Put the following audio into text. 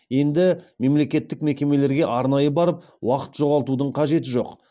енді мемлекеттік мекемелерге арнайы барып уақыт жоғалтудың қажеті жоқ